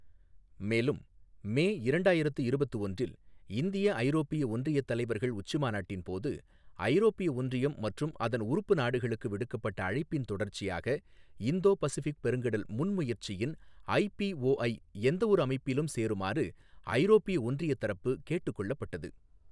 மேலும், மே இரண்டாயிரத்து இருபத்து ஒன்றில் இந்திய ஐரோப்பிய ஒன்றிய தலைவர்கள் உச்சிமாநாட்டின் போது ஐரோப்பிய ஒன்றியம் மற்றும் அதன் உறுப்பு நாடுகளுக்கு விடுக்கப்பட்ட அழைப்பின் தொடர்ச்சியாக இந்தோ பசிபிக் பெருங்கடல் முன்முயற்சியின் ஐபிஓஐ எந்தவொரு அமைப்பிலும் சேருமாறு ஐரோப்பிய ஒன்றியத் தரப்பு கேட்டுக் கொள்ளப்பட்டது.